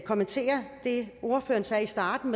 kommentere det ordføreren sagde i starten